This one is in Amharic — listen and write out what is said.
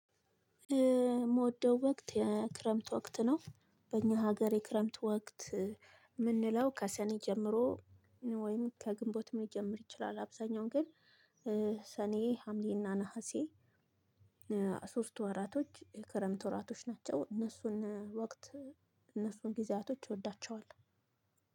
የምወደው ወቅት የክረምት ወቅት ነው። በእኛ ሀገር የክረምት ወቅት የምንለው ከሰኔ ጀምሮ ወይም ከግንቦት መጀመር ይችላል አብዛኛውን ግን ሰኔ ሐምሌና ነሀሴ ሶስቱ ወራቶች የክረምት ወራቶች ናቸው። እነሱን ወቅት እነሱን ጊዜያቶች እወዳችዋለሁ።